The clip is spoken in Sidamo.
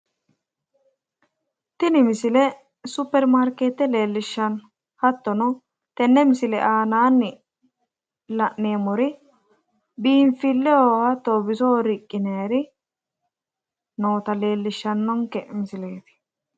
Tini misile supperimarkeete leellishshano. Hattono tenne misileeti aanaanni la'neemmori biinfileho hattono bisoho riqqinaayiri noota leellishshannonke misileeti.